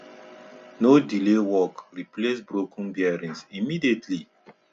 no delay work replace broken bearings immediately